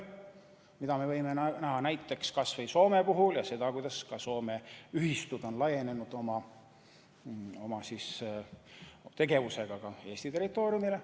Seda me võime näha näiteks kas või Soome puhul: Soome ühistud on laienenud oma tegevusega ka Eesti territooriumile.